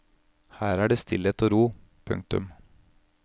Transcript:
Her er det stillhet og ro. punktum